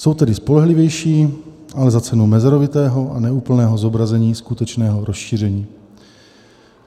Jsou tedy spolehlivější, ale za cenu mezerovitého a neúplného zobrazení skutečného rozšíření.